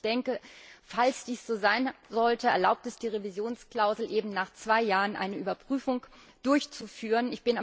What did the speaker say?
Ich denke, falls dies so sein sollte, erlaubt es die Revisionsklausel, nach zwei Jahren eine Überprüfung durchzuführen.